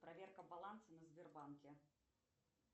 проверка баланса на сбербанке